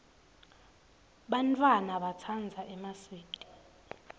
bantfwana batsandza emaswidi